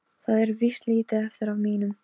Það er víst lítið eftir af mínum!